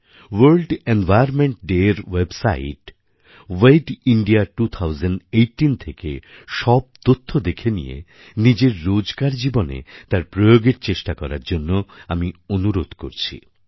world environment Dayএর website wedindia2018 থেকে সব তথ্য দেখে নিয়ে নিজের রোজকার জীবনে তার প্রয়োগের চেষ্টা করার জন্য আমি অনুরোধ করছি